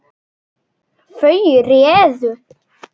Þau réðu.